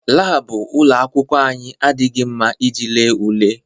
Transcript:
Laabụ ụlọ akwụkwọ anyị adịghị mma iji lee ule.